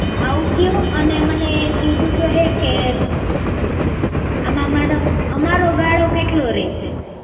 ભાવ કેવો અને મને એક બીજું તો એ કે આમાં મારો અમારો ગાળો કેટલો રહેશે?